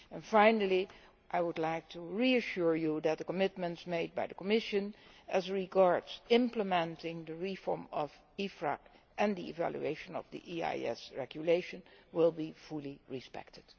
Finally, I would like to reassure you that the commitment made by the Commission as regards implementing the reform of EFRAG and the evaluation of the IAS Regulation will be fully respected.